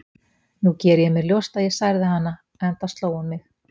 Nú geri ég mér ljóst að ég særði hana, enda sló hún mig.